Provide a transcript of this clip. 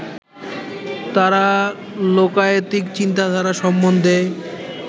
তাঁরা লোকায়তিক চিন্তাধারা সম্বন্ধে